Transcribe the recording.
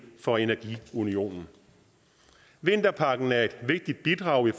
for energiunionen vinterpakken er et vigtigt bidrag i